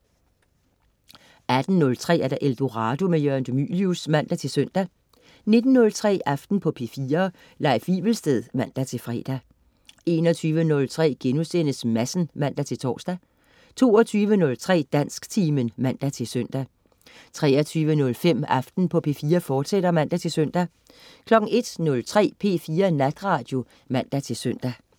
18.03 Eldorado. Jørgen de Mylius (man-søn) 19.03 Aften på P4. Leif Wivelsted (man-fre) 21.03 Madsen* (man-tors) 22.03 Dansktimen (man-søn) 23.05 Aften på P4, fortsat (man-søn) 01.03 P4 Natradio (man-søn)